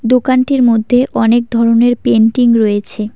দোকানটির মধ্যে অনেক ধরনের পেন্টিং রয়েছে।